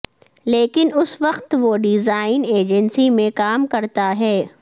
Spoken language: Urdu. لیکن اس وقت وہ ڈیزائن ایجنسی میں کام کرتا ہے